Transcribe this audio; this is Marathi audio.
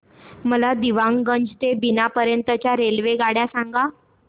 मला दीवाणगंज ते बिना पर्यंत च्या रेल्वेगाड्या सांगा